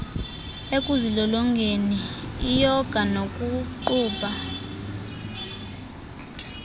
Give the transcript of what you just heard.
ekuzilolongeni iyoga nokuqubha